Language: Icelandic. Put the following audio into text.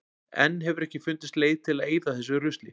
Enn hefur ekki fundist leið til að eyða þessu rusli.